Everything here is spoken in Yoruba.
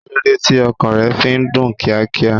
Kíló dé tí ọkàn rẹ fi ń dún kíákíá?